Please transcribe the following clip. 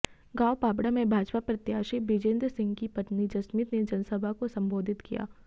गांव पाबड़ा में भाजपा प्रत्याशी बृजेंद्र सिंह की पत्नी जसमीत ने जनसभा को संबोधित किया